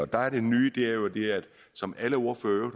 der er det nye det som alle ordførere